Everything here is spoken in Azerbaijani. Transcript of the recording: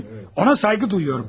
Ona sayğı duyuyorum.